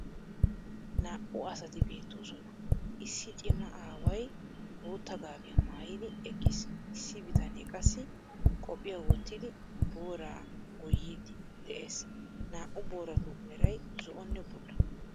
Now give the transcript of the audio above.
Naa"u asati beettoosona. Issi cimma aaway bootta gaabiya maayidi eqqiis. Issi bitanee qassi qophphiya wottidi booraa gooyiidi de'ees. Naa"u booratu meray zo"onne bulla.